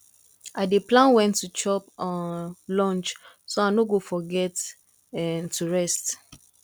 i dey plan when to chop um lunch so i no go forget um to rest